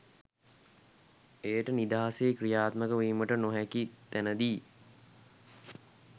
එයට නිදහසේ ක්‍රියාත්මක වීමට ‍ෙනාහැකි තැනදී